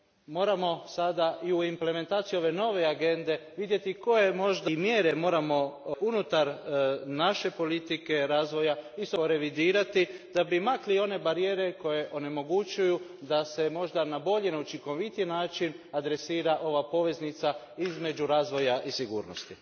Moramo sada u implementaciji ove nove Agende vidjeti i koje mjere moramo unutar naše politike razvoja revidirati da bi makli one barijere koje onemogućuju da se možda na bolji, učinkovitiji način adresira ova poveznica između razvoja i sigurnosti.